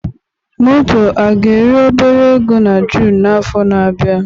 moto a ga-eri obere ego na June n'afọ na-abịa?